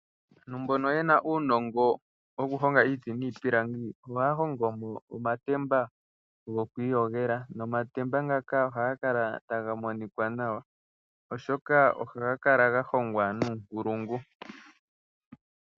Aantu mbono yena uunongo wokuhonga iiti niipilangi, ohaya hongo mo omatemba gokwiiyogela nomatemba ngaka ohaga kala taga monika nawa oshoka ohaga kala ga hongwa nuunkulungu.